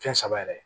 Fɛn saba yɛrɛ